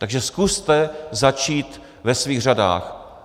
Takže zkuste začít ve svých řadách.